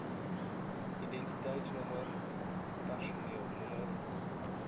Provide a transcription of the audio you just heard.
identiteitsnommer personeel nr